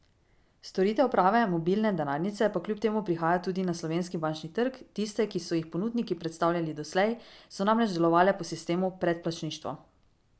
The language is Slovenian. Storitev prave mobilne denarnice pa kljub temu prihaja tudi na slovenski bančni trg, tiste, ki so jih ponudniki predstavljali doslej, so namreč delovale po sistemu predplačništva.